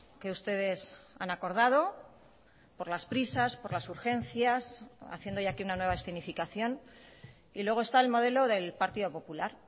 que ustedes han acordado por las prisas por las urgencias haciendo hoy aquí una nueva escenificación y luego está el modelo del partido popular